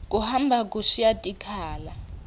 kuhamba kushiya tikhala